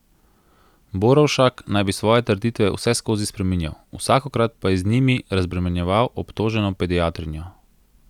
Borovšak naj bi svoje trditve vseskozi spreminjal, vsakokrat pa je z njimi razbremenjeval obtoženo pediatrinjo.